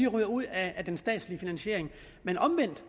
ryger ud af den statslige finansiering men omvendt